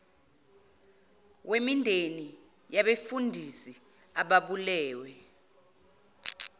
wemindeni yabefundisi ababulewe